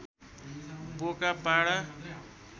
बोका पाडा